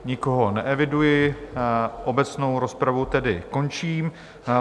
Nikoho neeviduji, obecnou rozpravu tedy končím.